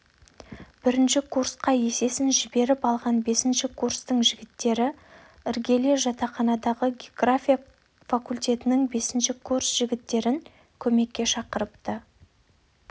бірінші курсқа есесін жіберіп алған бесінші курстың жігіттері іргеле жатақханадағы география факультетінің бесінші курс жігіттерін көмекке шақыртыпты